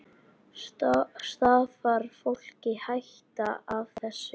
Stafar fólki hætta af þessu?